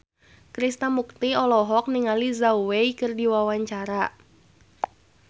Krishna Mukti olohok ningali Zhao Wei keur diwawancara